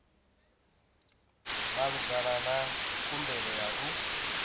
malugana na khumbelo ya u